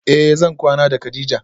Eh zan kwana da kadija